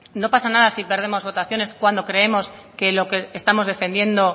no pasa nada si perdemos votaciones cuando creemos que lo que estamos defendiendo